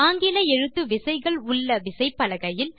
ஆங்கில எழுத்து விசைகள் உள்ள விசைப்பலகையில்